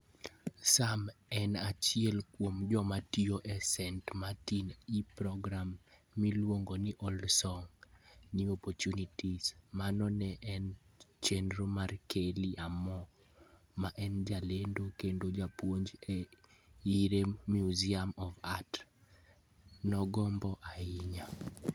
Sam en achiel kuom joma tiyo e St. Martin e program miluongo ni Old Songs, New Opportunities. Mano ne en chenro ma Kelly Armor, ma en jalendo kendo japuonj e Erie Museum of Art, nogombo ahinya.